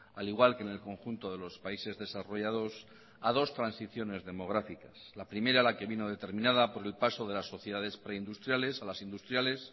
al igual que en el conjunto de los países desarrollados a dos transiciones demográficas la primera la que vino determinada por el paso de las sociedades preindustriales a las industriales